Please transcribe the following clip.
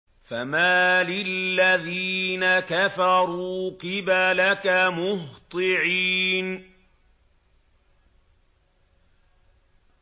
فَمَالِ الَّذِينَ كَفَرُوا قِبَلَكَ مُهْطِعِينَ